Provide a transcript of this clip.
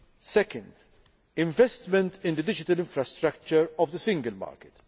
Secondly, investment in the digital infrastructure of the single